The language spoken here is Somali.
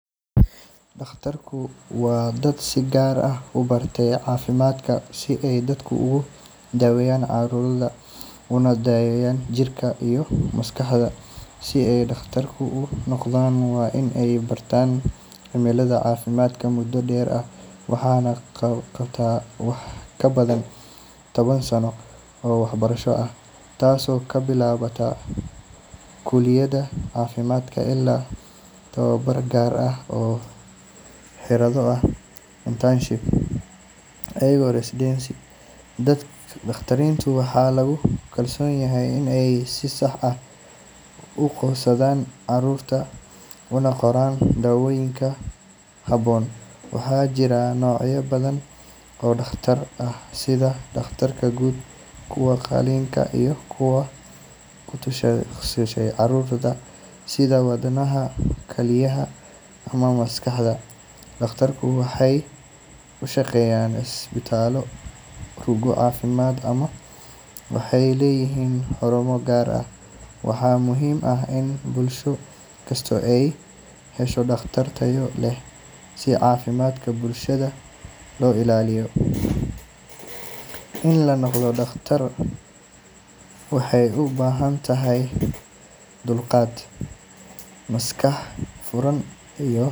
Dhakhaatiirtu waa dad si gaar ah u bartay caafimaadka si ay dadka ugu daaweeyaan cudurrada una daryeelaan jirka iyo maskaxda. Si ay dhakhtar u noqdaan, waa in ay bartaan cilmiga caafimaadka muddo dheer ah. Waxay qaataan wax ka badan toban sano oo waxbarasho ah, taasoo ka bilaabata kuliyadda caafimaadka ilaa tababar gaar ah oo la yiraahdo internship iyo residency. Dhakhaatiirta waxaa lagu kalsoon yahay in ay si sax ah u aqoonsadaan cudurrada una qoraan daawooyin habboon. Waxaa jira noocyo badan oo dhakhaatiir ah sida dhakhaatiirta guud, kuwa qalitaanka, iyo kuwa ku takhasusay cudurrada sida wadnaha, kalyaha ama maskaxda. Dhakhaatiirtu waxay u shaqeeyaan isbitaallo, rugo caafimaad, ama waxay leeyihiin xarumo gaar ah. Waxaa muhiim ah in bulsho kastaa ay hesho dhakhaatiir tayo leh si caafimaadka bulshada loo ilaaliyo. In la noqdo dhakhtar waxay u baahan tahay dulqaad, maskax furan, iyo.